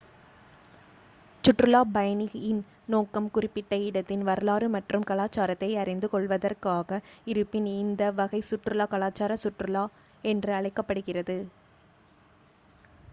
சுற்றுலாப் பயணியின் நோக்கம் குறிப்பிட்ட இடத்தின் வரலாறு மற்றும் கலாச்சாரத்தை அறிந்து கொள்வதாக இருப்பின் இந்த வகை சுற்றுலா கலாச்சார சுற்றுலா என்று அழைக்கப்படுகிறது